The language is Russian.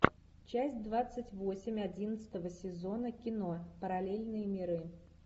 часть двадцать восемь одиннадцатого сезона кино параллельные миры